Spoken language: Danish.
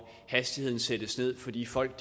hastigheden sættes ned fordi folk